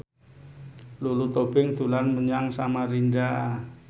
Lulu Tobing dolan menyang Samarinda